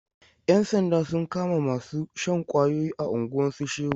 Yan sanda sun kama masu shan ƙwayoyi a unguwan su Shehu.